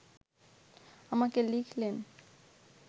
আমাকে লিখলেন